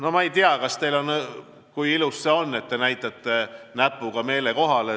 No ma ei tea, kui ilus see on, et näitate näpuga meelekohale.